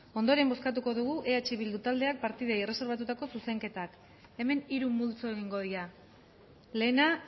ondoren bozkatuko dugu eh bildu taldeak partidei erreserbatutako zuzenketak hemen hiru multzo egingo dira lehena